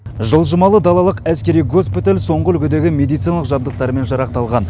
жылжымалы далалық әскери госпиталь соңғы үлгідегі медициналық жабдықтармен жарақталған